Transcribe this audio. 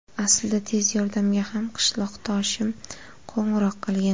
Aslida tez yordamga ham qishloqdoshim qo‘ng‘iroq qilgan.